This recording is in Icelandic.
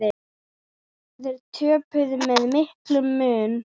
Þeir töpuðu með miklum mun.